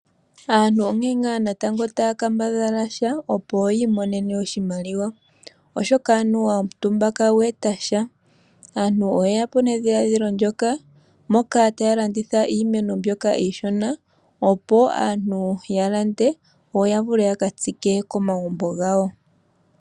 Aantu onkene ngaa taya kambadhala sha opo yiimonene oshimaliwa oshoka anuwa omutumba kagweeta sha. Aantu oye ya po nedhiladhilo ndyoka moka taya landitha iimeno mbyoka iishona opo aantu ya lande yo ya vule ya katsike komagumbo gawo.